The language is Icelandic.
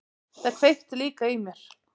Það kveikti líka í mér.